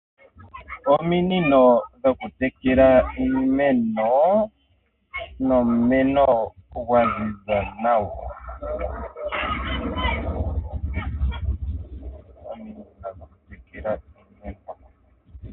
Ominino dhokutekela iimeno nomumeno gwa ziza nawa.